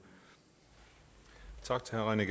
af aktørerne